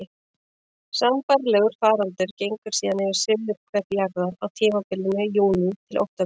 Sambærilegur faraldur gengur síðan yfir suðurhvel jarðar á tímabilinu júní til október.